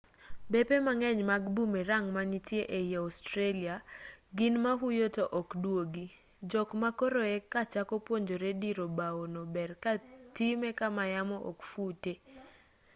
bepe mang'eny mag boomerang manitie ei australia gin ma huyo to ok dwogi jok ma koro e kachako puonjore diro bao no ber ka time kama yamo ok fute